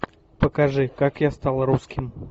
покажи как я стал русским